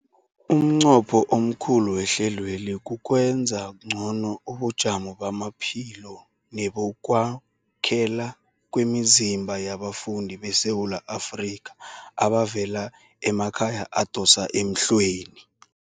Umnqopho omkhulu wehlelweli kukwenza ngcono ubujamo bamaphilo nebokwakhela kwemizimba yabafundi beSewula Afrika abavela emakhaya adosa emhlweni.